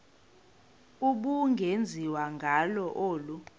ubungenziwa ngalo olu